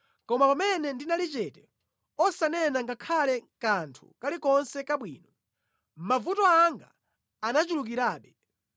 Koma pamene ndinali chete osanena ngakhale kanthu kalikonse kabwino mavuto anga anachulukirabe.